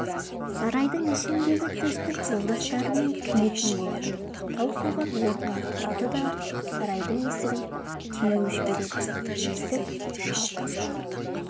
сарайдың ішіндегі төстік жолдастарымен күйетін болады таусоғар орнынан тұрады да сарайдың есігін теуіп жібереді есік шалқасынан